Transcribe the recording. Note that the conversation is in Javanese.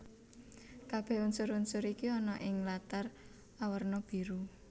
Kabèh unsur unsur iki ana ing latar awerna biru